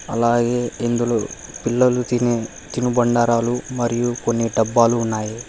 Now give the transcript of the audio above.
అలాగే ఇందులో పిల్లలు తినే తినుబండారాలు మరియు కొన్ని డబ్బాలు ఉన్నాయి.